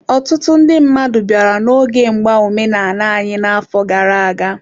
Ọtụtụ ndị mmadụ bịara n'oge mgba omenala anyị n'afọ gara aga.